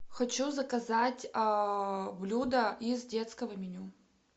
хочу заказать блюдо из детского меню